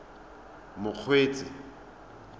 mokgweetsi